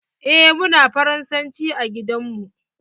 Eh muna faransanci a gidan mu.